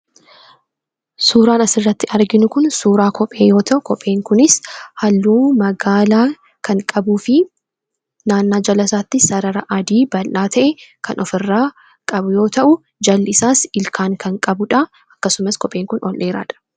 Suuraan asirratti arginu kun suuraa kophee yoo ta'u kopheen kunis halluu magaala kan qabuu fi naannoo jalasaattis sarara adii bal'aa ta'e ofirraa qabu yoo ta'u, jalli isaas ilkaan kan qabu yoo ta'u kophichi ol dheeraadha.